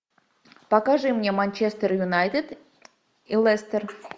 покажи мне манчестер юнайтед и лестер